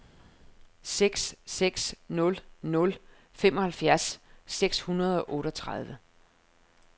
seks seks nul nul femoghalvfjerds seks hundrede og otteogtredive